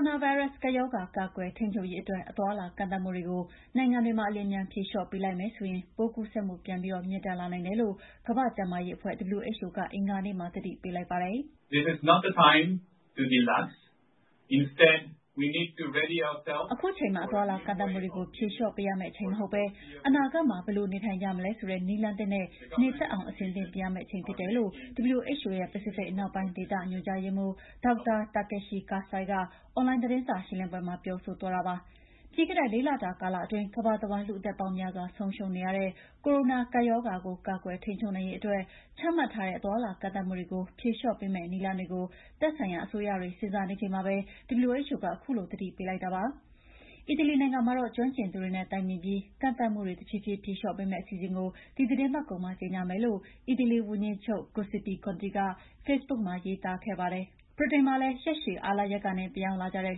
ုနာဗိုင်းရပ်စ် ကပ်ရောဂါ ကာကွယ်ထိန်းချုပ်ရေးအတွက် အသွားအလာကန့်သတ်မှုတွေကို နိုင်ငံတွေမှာ အလျင်အမြန်ဖြေလျော့ပေးလိုက်မယ်ဆိုရင် ပိုးကူးစက်မှုပြန်ပြီး မြင့်တက်လာနိုင်တယ်လို့ ကမ္ဘာ့ကျန်းမာရေးအဖွဲ့ WHO က အင်္ဂါနေ့မှာ သတိပေးလိုက်ပါတယ်။ ခုချိန်ဟာ အသွားအလာကန့်သတ်မှုတွေ ဖြေလျှော့ပေးရမယ့်အချိန်မဟုတ်ဘဲ အနာဂတ်မှာ ဘယ်လိုနေထိုင်ကြမလဲဆိုတဲ့ နည်းလမ်းသစ်နဲ့ နေတတ်အောင်အဆင်သင့်ပြင်ရမယ့်အချိန်ဖြစ်တယ်လို့ WHO ရဲ့ ပစိဖိတ်အနောက်ပိုင်းဒေသ ညွှန်ကြားရေးမှူး Dr. Takeshi Kasai က အွန်လိုင်း သတင်းစာရှင်းလင်းပွဲမှာ ပြောဆိုသွားတာဖြစ်ပါတယ်။ ပြီးခဲ့တဲ့ ၄ လတာ ကာလအတွင်း ကမ္ဘာတဝှမ်း လူ့အသက်ပေါင်းများစွာ ဆုံးရှုံးနေရတဲ့ ကိုရိုနာကပ်ရောဂါကို ကာကွယ်ထိန်းချုပ်နိုင်ရေးအတွက်ချမှတ်ထားတဲ့ အသွားအလာကန့်သတ်မှုတွေကို ဖြေလျှော့မယ့်နည်းလမ်းတွေကို သက်ဆိုင်ရာ အစိုးရတွေ စဉ်းစားနေကြချိန်မှာ WHO ကခုလို သတိပေးလိုက်တာလည်း ဖြစ်ပါတယ်။ အီတလီနိုင်ငံမှာတော့ ကျွှမ်းကျင်သူတွေနဲ့ တိုင်ပင်ပြီးရင် ကန့်သတ်မှုတွေ တဖြည်းဖြည်းဖြေလျှော့ပေးမယ့် အစီအစဉ်ကို ဒီသီတင်းပတ်ကုန်မှာ ကြေငြာမယ်လို့ အီတလီဝန်ကြီးချုပ် Giuseppe Conte က ဖေ့ဘုတ်မှာ ရေးသားခဲ့ပါတယ်။ ဗြိတိန်မှာလည်း ရက်ရှည်အားလပ်ရက်ကနေ ပြန်ရောက်လာကြတဲ့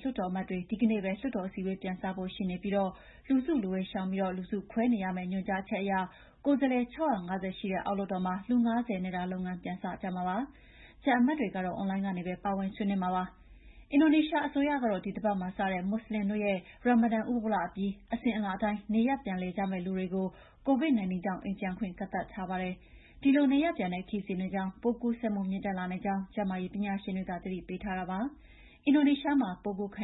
လွှတ်တော်အမတ်တွေ ဒီကနေ့ပဲ လွှတ်တော် အစည်းအဝေးပြန်စဖို့ ရှိပြီး လူစုလူဝေးရှောင်ပြီး လူစုခွဲနေရမယ့် ညွှန်ကြားချက်အရ ကိုယ်စားလှယ် ၆၅၀ ရှိတဲ့ အောက်လွှတ်တော်မှာ လူ ၅၀ နဲ့သာ လုပ်ငန်းပြန်စကြမှာ ဖြစ်ပါတယ်။ ကျန်အမတ်တွေကတော့ အွန်လိုင်းကနေပဲ ပါဝင်ဆွေးနွေးကြမှာဖြစ်ပါတယ်။ အင်ဒိုနီးရှားအစိုးရကတော့ ဒီတပတ်မှာစတဲ့ မွတ်ဆလင်တို့ရဲ့ ရာမဒန်ဥပုဒ်လအပြီး အစဉ်အလာအတိုင်း နေရပ်အလည်ပြန်မယ့် လူတွေကို COVID-19 ကြောင့် အိမ်ပြန်ခွင့်ကန့်သတ်ထားပါတယ်။ ဒီလို နေရပ်ပြန်တဲ့ခရီးစဉ်တွေကြောင့် ပိုးကူးစက်မှုမြင့်တက်လာနိုင်ကြောင်း ကျန်းမာရေးပညာရှင်တွေက သတိပေးထားတာပါ။ အင်ဒိုနီးရှားမှာ ပိုးကူးခံ